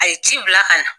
A ye ci bila ka na